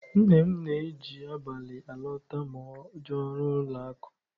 Nne m na-eji abalị alọta ma o jee ọrụ n'ụlọakụ.